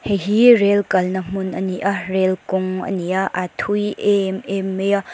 hei hi rail kalna hmun ani a rail kawng ani a a thui em em mai a--